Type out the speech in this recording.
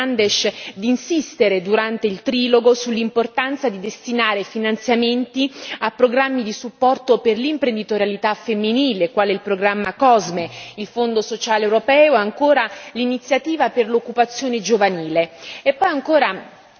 Chiedo al collega Fernandes di insistere durante il trilogo sull'importanza di destinare finanziamenti a programmi di supporto per l'imprenditorialità femminile, quale il programma COSME, il Fondo sociale europeo e ancora l'iniziativa per l'occupazione giovanile.